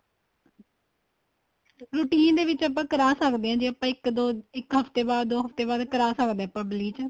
routine ਦੇ ਵਿੱਚ ਆਪਾਂ ਕਰਾ ਸਕਦੇ ਹਾਂ ਜੇ ਆਪਾਂ ਇੱਕ ਦੋ ਇੱਕ ਹੱਫਤੇ ਦੋ ਹੱਫਤੇ ਬਾਅਦ ਕਰਾ ਸਕਦੇ ਹਾਂ ਆਪਾਂ bleach